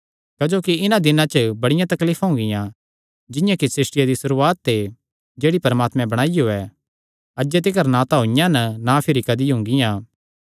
क्जोकि इन्हां दिनां च बड़ियां तकलीफां हुंगियां जिंआं कि सृष्टिया दी सुरुआत ते जेह्ड़ी परमात्मैं बणाईयो ऐ अज्जे तिकर ना तां होईयां ना तां भिरी कदी हुंगियां